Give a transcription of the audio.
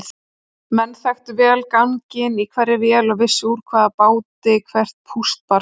Menn þekktu vel ganginn í hverri vél og vissu úr hvaða báti hvert púst barst.